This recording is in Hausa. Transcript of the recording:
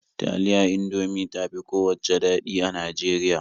Taliya Indomie ta fi kowacce daɗi a Najeriya.